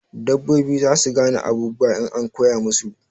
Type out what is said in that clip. Dabbobi zasu gane abubuwa in an koya musu